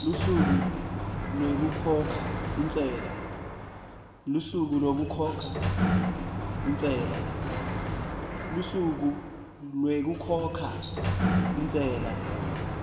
lusuku lwekukhokha intsela